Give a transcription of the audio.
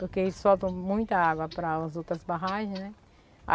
Porque eles soltam muita água pras outras barragens, né?